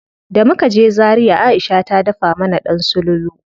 Da muka je Zaria Aisha ta dafa mana ɗan sululu.